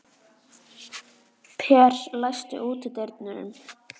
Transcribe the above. Per, læstu útidyrunum.